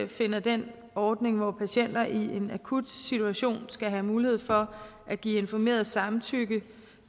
finder den ordning hvor patienter i en akut situation skal have mulighed for at give informeret samtykke